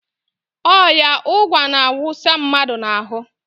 Ọya ụgwa na-awụsa mmadụ n"ahụ.